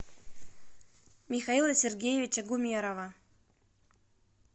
михаила сергеевича гумерова